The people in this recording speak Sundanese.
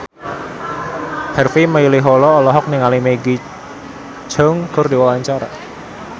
Harvey Malaiholo olohok ningali Maggie Cheung keur diwawancara